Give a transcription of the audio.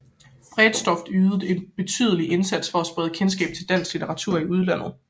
Bredsdorff ydede en betydelig indsats for at sprede kendskab til dansk litteratur i udlandet